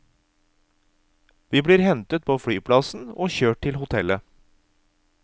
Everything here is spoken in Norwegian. Vi blir hentet på flyplassen og kjørt til hotellet.